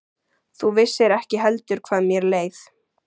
Þú vissir ekki heldur hvað mér leið.